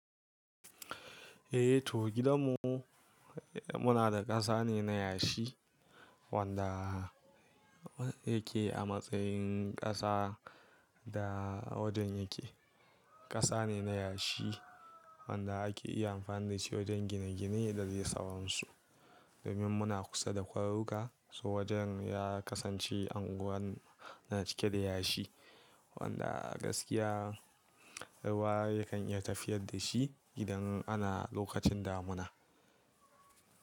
Eh to gidanmu muna da ƙasa ne na yashi wanda yake a matsayin ƙasa da wajen yake. Ƙasa ne na yashi wanda ake iya amfani da shi wajen gine-gine da zai sawron su. Domin muna kusa da kwaruka, so wajen ya kasance anguwar na cike da yashi wanda gaskiya ruwa yakan iya tafiyar da shi gidan ana lokacin damuna.